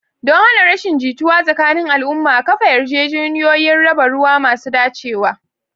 Don hana rashin jituwa tsakanin al'umma, kafa yarjejeniyoyin raba ruwa masu dacewa.